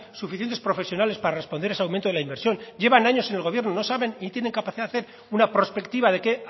suficientes profesionales para responder a ese aumento de la inversión llevan años en el gobierno no saben y tienen capacidad de hacer una prospectiva de qué